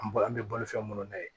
An bo an bɛ bolifɛn minnu na yen